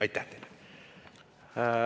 Aitäh!